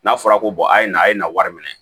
N'a fɔra ko a ye na a ye nin wari minɛ